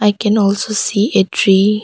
I can also see a tree.